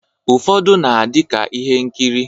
Ufọdu na adi ka ihe nkiri